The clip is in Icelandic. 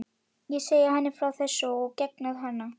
Ég segi henni frá þessu og geng á hana.